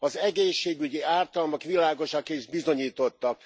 Az egészségügyi ártalmak világosak és bizonyítottak.